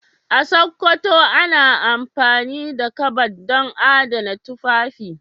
A Sokoto ana amfani da kabad don adana tufafi.